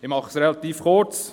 Ich mache es relativ kurz: